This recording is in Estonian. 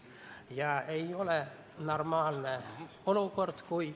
Ma palun lisaaega!